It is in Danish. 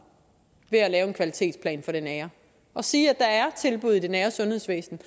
ved at lave en kvalitetsplan for det nære og sige at der er tilbud i det nære sundhedsvæsen